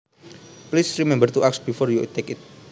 Please remember to ask before you take it